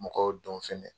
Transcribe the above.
Mɔgɔw dɔn fɛnɛ